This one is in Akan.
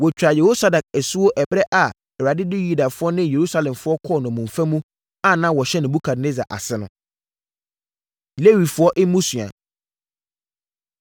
Wɔtwaa Yehosadak asuo ɛberɛ a Awurade de Yudafoɔ ne Yerusalemfoɔ kɔɔ nnommum mu a na wɔhyɛ Nebukadnessar ase no. Lewifoɔ Mmusua